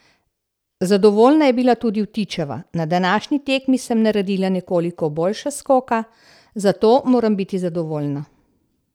Zadovoljna je bila tudi Vtičeva: "Na današnji tekmi sem naredila nekoliko boljša skoka, zato moram biti zadovoljna.